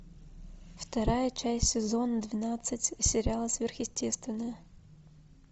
вторая часть сезона двенадцать сериала сверхъестественное